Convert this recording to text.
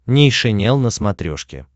нейшенел на смотрешке